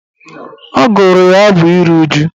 Ọ gụrụ ya abụ ịru uju